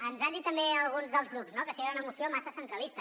ens han dit també alguns dels grups que si era una moció massa centralista